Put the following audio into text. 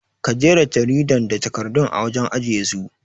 Ka jera jaridan da takardun a wajen ajiye su